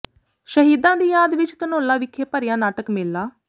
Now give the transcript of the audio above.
ਸ਼ਹੀਦਾਂ ਦੀ ਯਾਦ ਵਿਚ ਧਨੌਲਾ ਵਿਖੇ ਭਰਿਆ ਨਾਟਕ ਮੇਲਾ